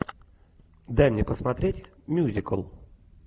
дай мне посмотреть мюзикл